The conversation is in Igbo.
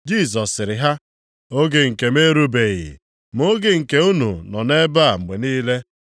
Jisọs sịrị ha, “Oge nke m erubeghị, ma oge nke unu nọ nʼebe a mgbe niile.